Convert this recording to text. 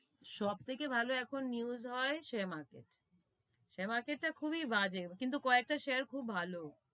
সব থেকে ভালো এখন news হয়, share market share market তা খুবি বাজে, কিন্তু কয়েকটা share খুব ভালো,